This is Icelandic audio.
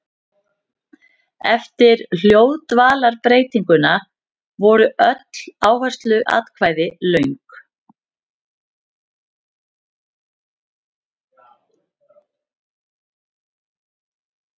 Eftir hljóðdvalarbreytinguna voru öll áhersluatkvæði löng.